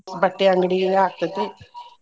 ಬಟ್ಟೆ ಅಂಗ್ಡಿ ಇದ್ ಆಗ್ತೇತಿ.